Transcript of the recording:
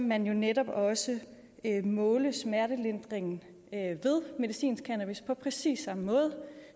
man jo netop også måle smertelindring ved medicinsk cannabis på præcis samme måde